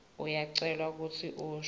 uyacelwa kutsi usho